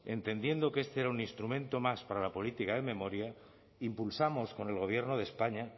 entendiendo que este era un instrumento más para la política de memoria impulsamos con el gobierno de españa